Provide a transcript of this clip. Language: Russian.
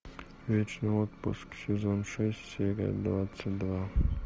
вечный отпуск сезон шесть серия двадцать два